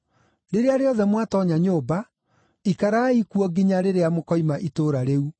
Rĩrĩa rĩothe mwatoonya nyũmba, ikarai kuo nginya rĩrĩa mũkoima itũũra rĩu.